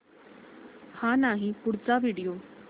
हा नाही पुढचा व्हिडिओ